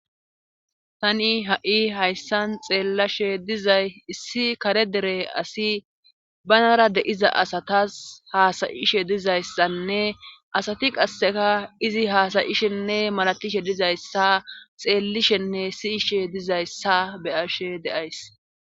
Tani ha7i hayssan xeellashe dizay issi kare dere asi banara deiza asatas haasayishe dizayssanne asati qasseka izi haasayishenne malatishe dizayssa xeellishenne siyishe dizayssa beyashe deays